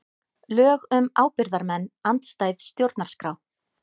Lög um ábyrgðarmenn andstæð stjórnarskrá